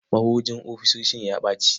Mahujin ofisishin ya ɓaci.